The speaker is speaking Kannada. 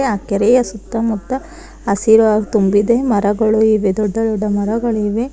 ಆ ಕೆರೆಯ ಸುತ್ತಮುತ್ತ ಹಸಿರು ತುಂಬಿದೆ ಮರಗಳು ಇವೆ ದೊಡ್ಡ ದೊಡ್ಡ ಮರಗಳಿವೆ.